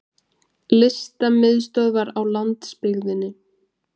Listamiðstöðvar á landsbyggðinni!